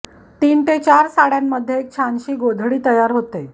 तीन ते चार साडय़ांमध्ये एक छानशी गोधडी तयार होते